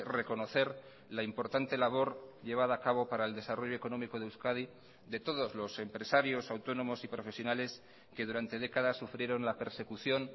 reconocer la importante labor llevada a cabo para el desarrollo económico de euskadi de todos los empresarios autónomos y profesionales que durante décadas sufrieron la persecución